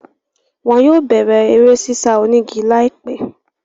Wọn yóò bẹ̀rẹ̀ eré sísá onígi láìpẹ́.